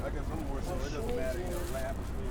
большое дело